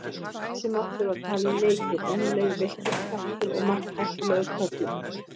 Þessi máttur var talinn mikill en um leið villtur kraftur og um margt hættulegur körlum.